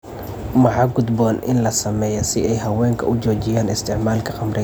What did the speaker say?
Maxa gudboon in la sameyo si ay haweenka u joojiyaan isticmaalka khamriga?